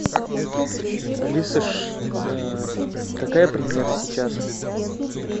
алиса какая премьера сейчас